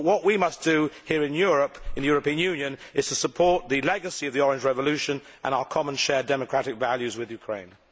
What we must do here in the European Union is to support the legacy of the Orange Revolution and our common shared democratic values with Ukraine.